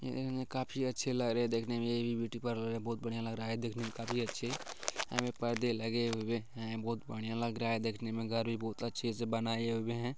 यह काफी अच्छे लग रहे हैं देखने में यह भी ब्यूटी पार्लर है बहुत बढ़ियाँ लग रहा है देखने में काफी अच्छे यहाँ पर परदे लगे हुए हैं बहुत बढ़िया लग रहा है देखने में घर भी बहुत अच्छे से बनाए हुए हैं।